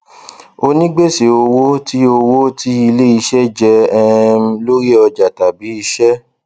onígbèsè owó tí owó tí iléiṣẹ jẹ um lórí ọjà tàbí iṣẹ